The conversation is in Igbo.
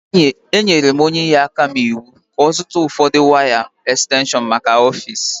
Enyere m onye inyeaka m iwu ka ọ zụta ụfọdụ waya ekstenshọnmaka ọfiisi